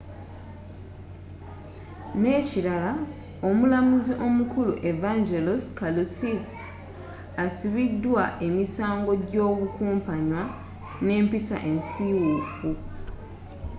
n'ekirala omulamuzi omukulu evangelos kalousis asibiddwa emisango gy'obukumpanya n'empisa ensiiwuufu